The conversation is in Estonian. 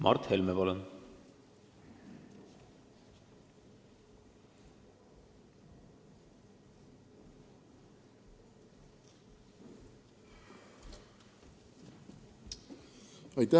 Mart Helme, palun!